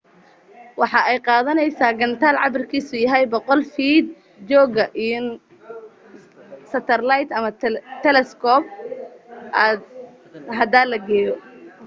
waxa ay qaadaneysa gataal cabirkiisu yahay 100 fiit jooga in saterleyd ama talescope hada la geeyo